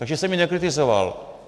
Takže jsem ji nekritizoval!